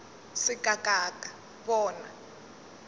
se ka ka ka bona